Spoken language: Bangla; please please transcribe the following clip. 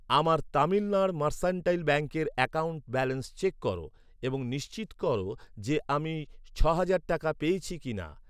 আমার তামিলনাড় মার্সান্টাইল ব্যাঙ্কের অ্যাকাউন্ট ব্যালেন্স চেক কর এবং নিশ্চিত কর যে আমি ছ'হাজার টাকা পেয়েছি কিনা।